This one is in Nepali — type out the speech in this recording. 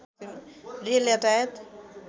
रेल यातायात